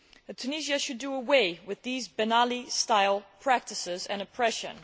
Tunisia should do away with these Ben Ali style practices and oppression.